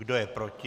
Kdo je proti?